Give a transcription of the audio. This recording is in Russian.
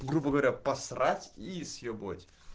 грубо говоря посрать и съебывать